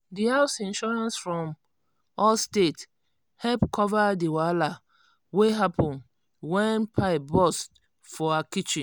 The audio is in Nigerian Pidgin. the house insurance from allstate help cover the wahala wey happen when pipe burst for her kitchen.